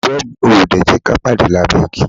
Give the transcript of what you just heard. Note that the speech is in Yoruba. Ìfẹ́ mi, o ò ò dè jẹ́ ka pàde lábẹ́ igi?